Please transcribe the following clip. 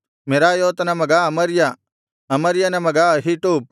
ಮೆರಾಯೋತನ ಮಗ ಅಮರ್ಯ ಅಮರ್ಯನ ಮಗ ಅಹೀಟೂಬ್